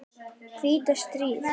hvíta stríð.